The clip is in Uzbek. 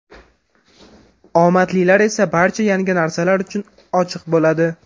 Omadlilar esa barcha yangi narsalar uchun ochiq bo‘ladi.